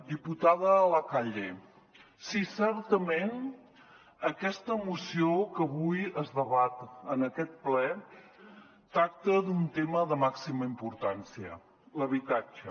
diputada de la calle sí certament aquesta moció que avui es debat en aquest ple tracta d’un tema de màxima importància l’habitatge